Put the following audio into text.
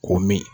Ko min